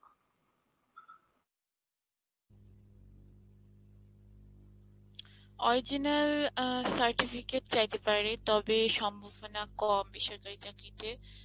original অ্যাঁ certificate চাইতে পারে তবে সম্ভাবনা কম বেসরকারি চাকরিতে,